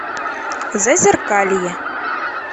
зазеркалье